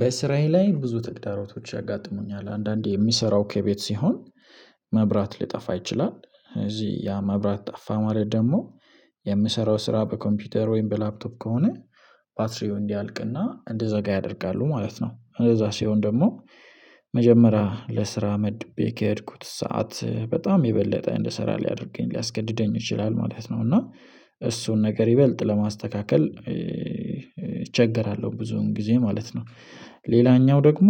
በስራኤል ላይ ብዙ ተግዳሮቶች ያጋጥሙኛል አንዳንዴ የሚሰራው ከቤት ሲሆን መብራት ሊጠፋ ይችላል እዚህ ያ መብራት ጠፋ ማለት ደግሞ የምሰራው ስራ በኮምፒውተር ወይም በላፕቶፕ ከሆነ ባትሪው እንዲያልቅና እንድዛጋ ያደርጋሉ ማለት ነው እንደዛ ሲሆን ደግሞ መጀመሪያ ለስራ መድቤ ከሄድኩት ሰዓት በጣም የበለጠ እንደሰራ ሊያደርገኝ ሊያስገድደኝ ይችላል ማለት ነው እና እሱን ነገር ይበልጥ ለማስተካከል እቸገራለሁ ብዙን ጊዜ ማለት ነው። ሌላኛው ደግሞ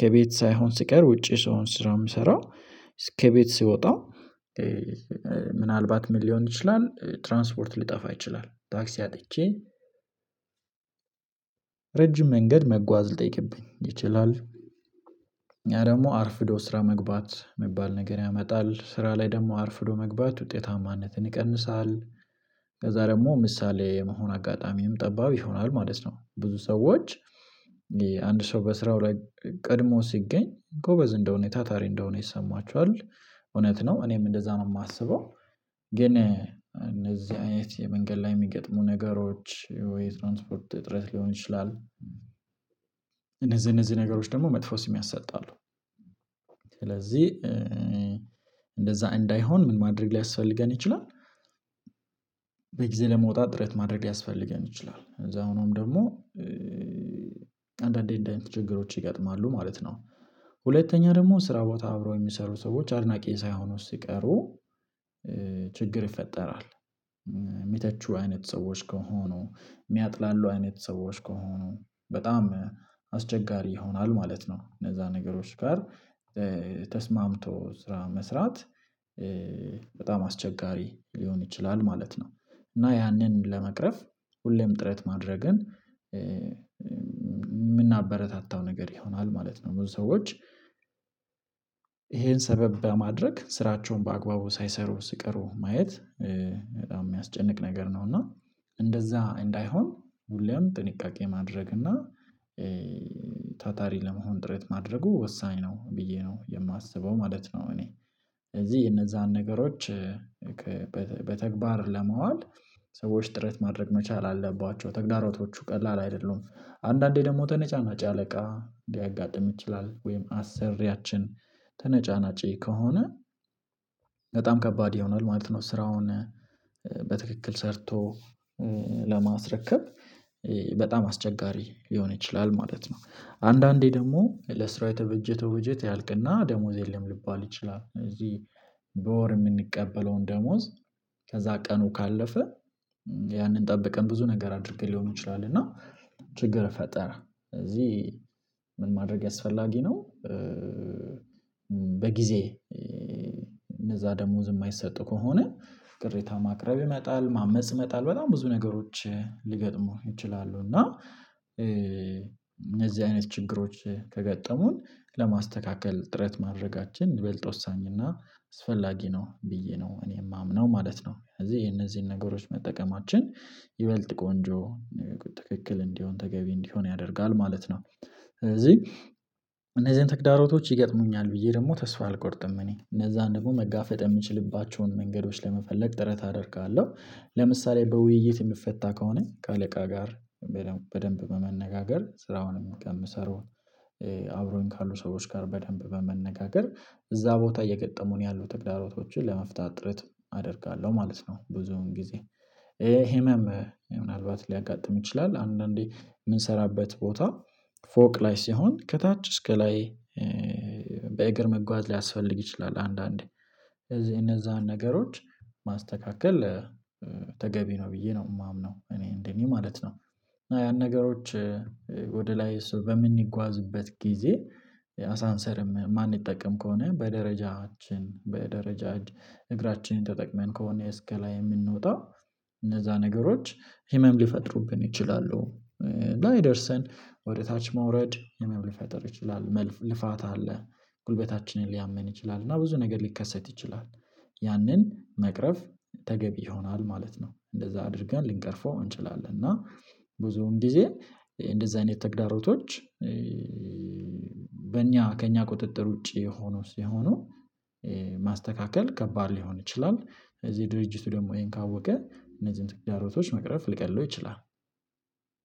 ከቤት ሳይሆን ስቀር ውጪ ስሆን ስራ የምሰራው እስከ ከቤት ሰወጣ ምናልባት ምን ሊሆን ይችላል ትራንስፖርት ሊጠፋ ይችላል ታክሲ አጥቼ ረጅም መንገድ መጓዝ ልጠይቅብኝ ይችላል ደግሞ አርፍዶ ስራ መግባት የሚባል ነገር ያመጣል ስራ ላይ ደግሞ አርፍዶ መግባት ውጤታማነትን ይቀንሳል። ከዛ ደግሞ ምሳሌ የመሆን አጋጣሚም ጠባብ ይሆናል ማለት ነው። ብዙ ሰዎች አንድ ሰው በስራው ላይ ቀድሞ ሲገኝ ጎበዝ እንደሆነ ታታሪ እንደሆነ ይሰማችኋል። እውነት ነው እኔም እንደዛ ነው የማስበው። ግን እነዚህ አይነት የመንገድ ላይ የሚገጥሙ ነገሮች ወይ ትራንስፖርት እጥረት ሊሆን ይችላል። እነዚህ እነዚህ ነገሮች ደግሞ መጥፎ ስም ያሰጣሉ። ስለዚህ እንደዛ እንዳይሆን ምን ማድረግ ሊያስፈልገን ይችላል? በጊዜ ለመውጣት ጥረት ማድረግ ሊያስፈልገን ይችላል ከዛ ሆኖም ደግሞ አንዳንዴ እንዳይነቱ ችግሮች ይገጥማሉ ማለት ነው። ሁለተኛ ደግሞ ስራ ቦታ አብረው የሚሰሩ ሰዎች አድናቂ ሳይሆኑ ሲቀሩ ችግር ይፈጠራል። የሚተቹ አይነት ሰዎች ከሆኑ የሚያጥላሉ አይነት ሰዎች ከሆኑ በጣም አስቸጋሪ ይሆናል ማለት ነው። እነዛ ነገሮች ጋር ተስማምቶ ስራ መስራት በጣም አስቸጋሪ ሊሆን ይችላል ማለት ነው። እና ያንን ለመቅረፍ ሁሌም ጥረት ማድረግን የምናበረታታው ነገር ይሆናል ማለት ነው። ብዙ ሰዎች ይሄን ሰበብ በማድረግ ስራቸውን በአግባቡ ሳይሰሩ ስቀሩ ማየት በጣም የሚያስጨንቅ ነገር ነው። እና እንደዛ እንዳይሆን ሁሌም ጥንቃቄ ማድረግ እና ታታሪ ለመሆን ጥረት ማድረጉ ወሳኝ ነው ብዬ ነው የማስበው ማለት ነው። እኔ ስለዚህ የነዛን ነገሮች በተግባር ለማዋል ሰዎች ጥረት ማድረግ መቻል አለባቸው ተግዳሮቶቹ ቀላል አይደሉም። አንዳንዴ ደግሞ ተነጫናጪ አለቃ ሊያጋጥም ይችላል ወይም አሰሪያችን ተነጫናጪ ከሆነ በጣም ከባድ ይሆናል ማለት ነው። ስራውን በትክክል ሰርቶ ለማስረከብ በጣም አስቸጋሪ ሊሆን ይችላል ማለት ነው። አንዳንዴ ደግሞ ለስራ የተበጀተ ወጀት ያልቅና ደሞዝ የለም ሊባል ይችላል ስለዚህ በወር የምንቀበለውን ደሞዝ ከዛ ቀኑ ካለፈ ያንን ጠበቀን ብዙ ነገር አድርገን ሊሆን ይችላል እና ችግር ይፈጠራል። ስለዚህ ምን ማድረግ አስፈላጊ ነው? በጊዜ እነዛ ደሞዝ የማይሰጡ ከሆነ ቅሬታ ማቅረብ ይመጣል ማመጽ ይመጣል በጣም ብዙ ነገሮች ሊገጥሙ ይችላሉ እና እነዚህ አይነት ችግሮች ከገጠሙን ለማስተካከል ጥረት ማድረጋችን ይበልጦ ወሳኝ እና አስፈላጊ ነው ብዬ ነው እኔ የማምነው ማለት ነው። ስለዚህ የነዚህን ነገሮች መጠቀማችን ይበልጥ ቆንጆ ትክክል እንዲሆን ተገቢ እንዲሆን ያደርጋል ማለት ነው። ስለዚህ እነዚህን ተግዳሮቶች ይገጥሙኛል ብዬ ደግሞ ተስፋ አልቆርጥም እኔ እነዛን ደግሞ መጋፈጥ የምችልባቸውን መንገዶች ለመፈለግ ጥረት አደርጋለሁ። ለምሳሌ በውይይት የሚፈታ ከሆነ ከአለቃ ጋር በደንብ በመነጋገር ስራውንም የምሰራው አብሮኝ ካሉ ሰዎች ጋር በደንብ በመነጋገር እዛ ቦታ እየገጠሙን ያሉ ትግዳሮቶችን ለመፍታት ጥረት አደርጋለሁ ማለት ነው። ብዙውን ጊዜ ህመም ምናልባት ሊያጋጥም ይችላል አንዳንዴ የምንሰራበት ቦታ ፎቅ ላይ ሲሆን ከታች እስከ ላይ በእግር መጓዝ ሊያስፈልግ ይችላል። አንዳንዴ እነዛን ነገሮች ማስተካከል ተገቢ ነው ብዬ ነው የማምነው እኔ እንደኔ ማለት ነው። ያን ነገሮች ወደ ላይ በምንጓዝበት ጊዜ አሳንሰንም ማንጠቀም ከሆነ በደረጃችን በደረጃ እግራችንን ተጠቅመን ከሆነ እስከ ላይ የምንወጣው እነዛ ነገሮች ህመም ሊፈጥሩብን ይችላሉ። እና ወደ ታች መውረድ ህመም ሊፈጥር ይችላል መልፋታ አለ ጉልበታችንን ሊያምን ይችላል እና ብዙ ነገር ሊከሰት ይችላል ያንን መቅረፍ ተገቢ ይሆናል ማለት ነው። እንደዛ አድርገን ልንቀርፈው እንችላለን። እና ብዙውን ጊዜ እንደዛ አይነት ተግዳሮቶች በእኛ ከእኛ ቁጥጥር ውጪ የሆነው ሲሆኑ ማስተካከል ከባድ ሊሆን ይችላል። እዚህ ድርጅቱ ደግሞ ይሄን ካወቀ እነዚህን ትግራይ ሮቶች መቅረፍ ሊቀልለው ይችላል።